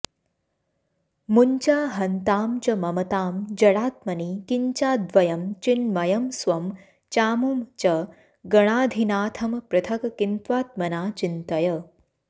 मुञ्चाहन्तां च ममतां जडात्मनि किञ्चाद्वयं चिन्मयं स्वं चामुं च गणाधिनाथमपृथक् किन्त्वात्मना चिन्तय